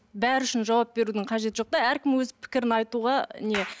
бәрі үшін жауап берудің қажеті жоқ та әркім өз пікірін айтуға не